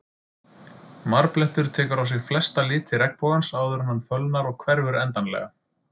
Marblettur tekur á sig flesta liti regnbogans áður en hann fölnar og hverfur endanlega.